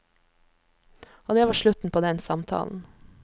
Og det var slutten på den samtalen.